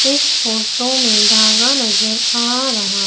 इस फोटो में नजर आ रहा--